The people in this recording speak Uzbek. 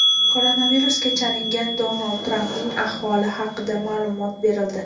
Koronavirusga chalingan Donald Trampning ahvoli haqida ma’lumot berildi.